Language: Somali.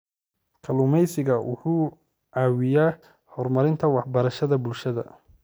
Kalluumeysigu wuxuu caawiyaa horumarinta waxbarashada bulshada.